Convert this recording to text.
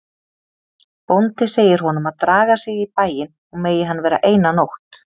Bóndi segir honum að draga sig í bæinn og megi hann vera eina nótt.